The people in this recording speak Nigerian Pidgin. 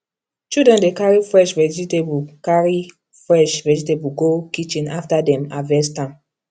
children dey carry fresh vegetable carry fresh vegetable go kitchen after dem harvest am